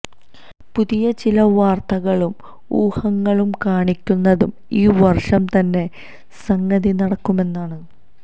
പുതിയ ചില വാര്ത്തകളും ഊഹങ്ങളും കാണിക്കുന്നത് ഈ വര്ഷം തന്നെ സംഗതി നടക്കുമെന്നാണ്